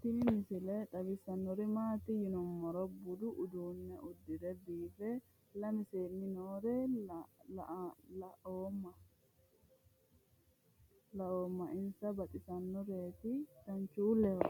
tini misile xawissannori maati yinummoro budu uduunne udire biife lame seenni noore laoommo insa baxisannoreeti danchuulleho